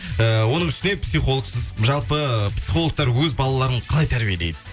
ііі оның үстіне психологсыз жалпы психологтар өз балаларын қалай тәрбиелейді